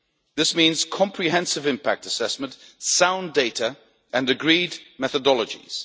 This means comprehensive impact assessment, sound data and agreed methodologies.